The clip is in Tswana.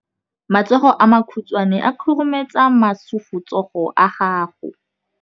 Matsogo a makhutshwane a khurumetsa masufutsogo a gago.